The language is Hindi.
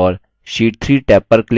और sheet 3 टैब पर click करें